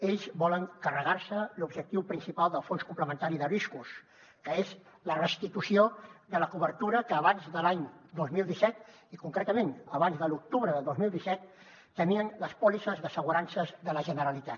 ells volen carregar se l’objectiu principal del fons complementari de riscos que és la restitució de la cobertura que abans de l’any dos mil disset i concretament abans de l’octubre de dos mil disset tenien les pòlisses d’assegurances de la generalitat